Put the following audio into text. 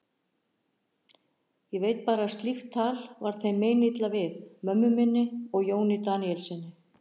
Ég veit bara að slíkt tal var þeim meinilla við, mömmu minni og Jóni Daníelssyni.